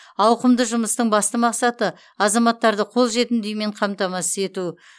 ауқымды жұмыстың басты мақсаты азаматтарды қолжетімді үймен қамтамасыз ету